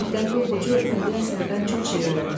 Diqqətli oxucu bədii əsərdən çox şey öyrənir.